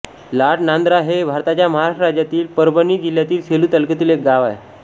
लाडनांदरा हे भारताच्या महाराष्ट्र राज्यातील परभणी जिल्ह्यातील सेलू तालुक्यातील एक गाव आहे